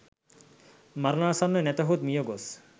මරණාසන්න, නැතහොත් මියගොස්